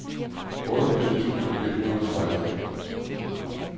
otteogfirs tusind et hundrede og seksten